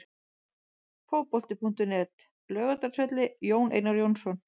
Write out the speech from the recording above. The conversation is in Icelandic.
Fótbolti.net, Laugardalsvelli- Jón Einar Jónsson.